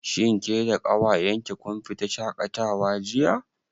Shin ke da ƙawayen ki kun fita shaƙatawa jiya?